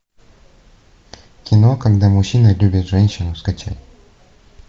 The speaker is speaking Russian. кино когда мужчина любит женщину скачать